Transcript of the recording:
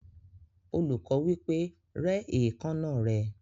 Olùkọ́ wí pé, "Rẹ́ èékánná rẹ."